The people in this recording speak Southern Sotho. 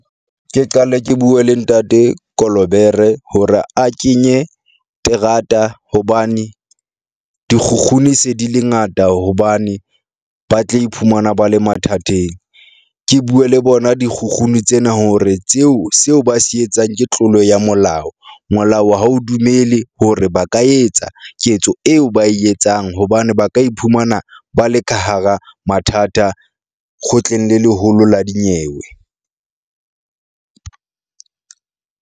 Ke qale ke bue le ntate Kolobere hore a kenye terata hobane dikgukguni se di le ngata hobane ba tle iphumana ba le mathateng. Ke bue le bona dikgukguni tsena hore tseo seo ba se etsang ke tlolo ya molao. Molao ha o dumele hore ba ka etsa ketso eo ba e etsang hobane ba ka iphumana ba le ka hara mathata kgotleng le leholo la dinyewe.